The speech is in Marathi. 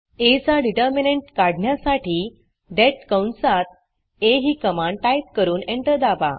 आ चा determinantडिटरमिनॅंट काढण्यासाठी देत कंसात आ ही कमांड टाईप करून एंटर दाबा